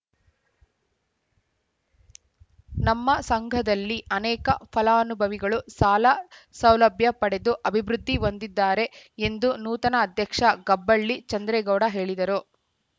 ನಮ್ಮ ಸಂಘದಲ್ಲಿ ಅನೇಕ ಫಲಾನುಭವಿಗಳು ಸಾಲ ಸೌಲಭ್ಯ ಪಡೆದು ಅಭಿವೃದ್ಧಿ ಹೊಂದಿದ್ದಾರೆ ಎಂದು ನೂತನ ಅಧ್ಯಕ್ಷ ಗಬ್ಬಳ್ಳಿ ಚಂದ್ರೇಗೌಡ ಹೇಳಿದರು